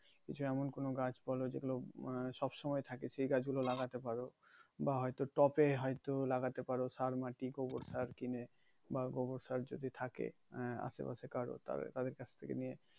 যেমন কোন গাছ বলো যেগুলো সবসময় থাকে সে গাছ গুলো লাগাতে পারো বা হয়তো টপে হয়তো লাগাতে পারো সার, মাটি, গোবর সার কিনে বা গোবর সার যদি থাকে আহ আশে পাশে যদি কারো তাদের কাছ থেকে নিয়ে